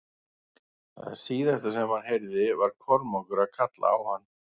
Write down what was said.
Það síðasta sem hann heyrði var Kormákur að kalla á hann.